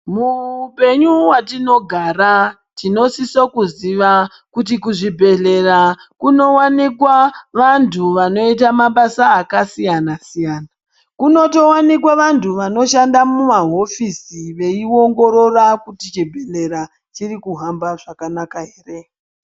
Muhupenyu hwatinogara tinosisa kuziva kuti kuzvibhehleya kunowanikwa vantu vanoita mabasa akasiyanasiyana kunotowanikwe vanhu vanoshande mumahofisi veiongorora kuti chibhehlera chirikuhamba zvakanaka ere.